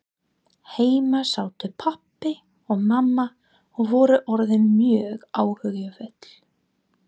Heima sátu pabbi og mamma og voru orðin mjög áhyggjufull.